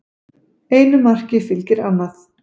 Einu marki fylgir annað